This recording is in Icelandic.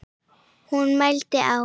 Hún mælti: Á